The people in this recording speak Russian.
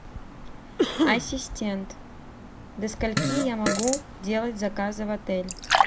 ассистент до скольки я могу делать заказы в отель